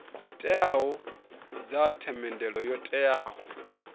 teaho dza themendelo yo teaho